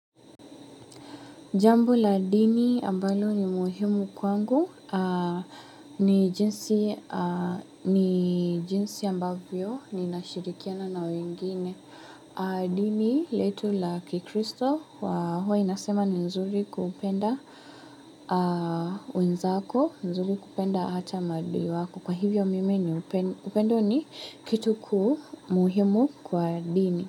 Jambo la dini ambalo ni muhimu kwangu ni jinsi ambavyo ninashirikiana na wengine. Dini letu la kikristo wa huwa inasema ni nzuri kupenda wenzako, nzuri kupenda hata maadui wako. Kwa hivyo mimi ni upendo upendo ni kitu kuu muhimu kwa dini.